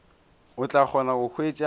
o tla kgona go hwetša